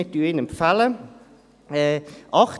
Wir empfehlen ihn.